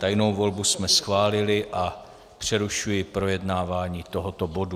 Tajnou volbu jsme schválili a přerušuji projednávání tohoto bodu.